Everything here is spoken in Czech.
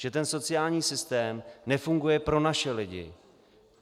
Že ten sociální systém nefunguje pro naše lidi.